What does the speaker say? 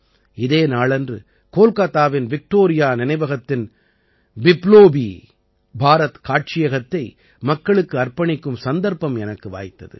இதே நாளன்று கோல்காத்தாவின் விக்டோரியா நினைவகத்தின் பிப்லோபீ பாரத் காட்சியகத்தை மக்களுக்கு அர்ப்பணிக்கும் சந்தர்ப்பம் எனக்கு வாய்த்தது